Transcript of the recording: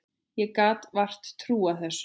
Ég gat vart trúað þessu.